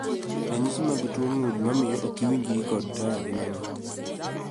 Ranyisi mag tuo gund mamio okiwinjri kod taya gin ang'o?